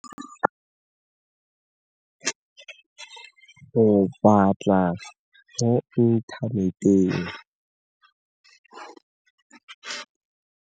Ke batla mo inthaneteng.